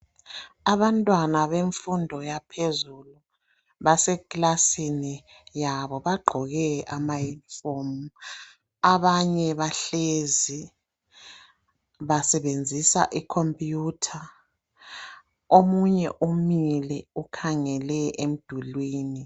Abantwana bemfundo yaphezulu basekilasini yabo bagqoke amayunifomu abanye bahlezi basebenzisa ikhompiyutha omunye umile ukhangele emdulwini.